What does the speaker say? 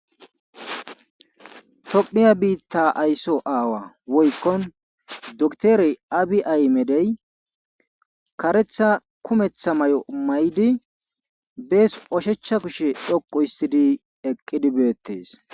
Tophiya biita ayso aawa woykko dokitere aabi ahimede kareththa kumeththa mayo mayidi bes ushacha kushe dhoqu histed eqqidi beetees.